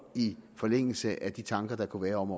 i forlængelse af de tanker der kunne være om